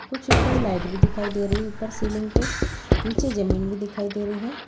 कुछ ऊपर लाइट भी दिखाई दे रही है| ऊपर सीलिंग पे नीचे जमीन दिखाई दे रही है।